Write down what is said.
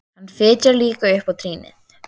Hann fitjar líka upp á trýnið.